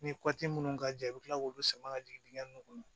Ni minnu ka jan i bɛ kila k'olu sama ka jigin dingɛ ninnu kɔnɔ